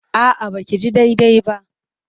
A'a ba ki ji daidai ba.